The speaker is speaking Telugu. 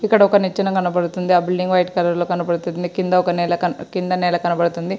ఇక్కడ ఒక నిచ్చెన కనబడుతుంది ఆ బిల్డింగ్ వైట్ కలర్ లో కనబడుతుంది కింద ఒక నేల కన్బ-కింద నేల కనబడుతుంది.